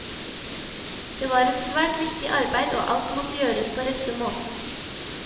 Det var et svært viktig arbeid, og alt måtte gjøres på rette måten.